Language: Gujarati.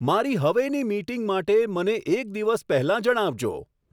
મારી હવેની મીટિંગ માટે મને એક દિવસ પહેલાં જણાવજો